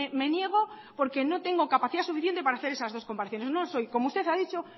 me niego porque no tengo capacidad suficiente para hacer esas dos comparaciones no soy como usted ha dicho